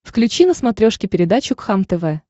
включи на смотрешке передачу кхлм тв